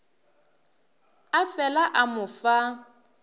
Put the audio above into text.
a fela a mo fa